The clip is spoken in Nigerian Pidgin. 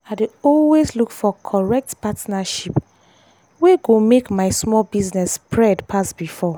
i dey always look for correct partnership wey go make my small business spread pass before.